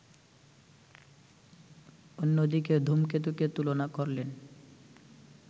অন্যদিকে ‘ধূমকেতু’কে তুলনা করলেন